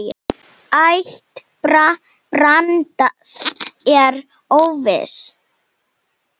Ætt Brands er óviss.